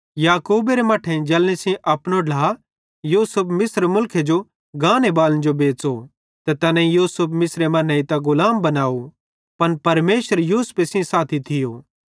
याकूबेरे मट्ठेइं जलनी सेइं अपनो ढ्ला यूसुफ मिस्र मुलखे जो गाने बालन जो बेच़ो ते तैनेईं यूसुफ मिस्रे मां नेइतां गुलाम बनाव पन परमेशर यूसुफे सेइं साथी थियो